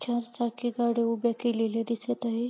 चार चाकी गाड्या उभ्या केलेल्या दिसत आहे.